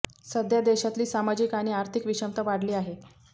सध्या देशातली सामाजिक आणि आर्थिक विषमता वाढली आहे